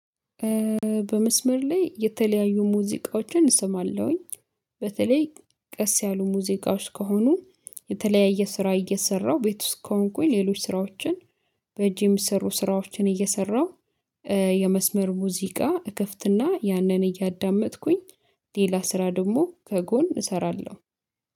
በመስመር ላይ የተለያዩ ሙዚቃዎችን እሰማለሁኝ። በተለይ ቀስ ያሉ ሙዚቃዎች ከሆኑ የተለያየ ስራ እየሰራው ቤት ውስጥ ከሆንኩኝ ሌሎች ስራዎችን በጅ የሚሰሩ ስራዎችን እየሰራሁ። የመስመር ሙዚቃ እከፍትና ያንን እያዳመጥኩኝ ሌላ ስራ ደግሞ ከጎን እሰራለሁ